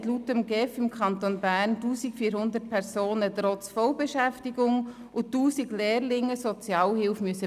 2013 haben im Kanton Bern laut GEF 1400 Personen trotz Vollbeschäftigung sowie 1000 Lehrlinge Sozialhilfe beziehen müssen.